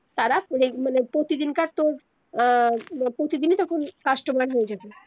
তারা মানে প্রতিদিনকার তর আহ প্রতিদিনে তখন customer হয়ে যাবে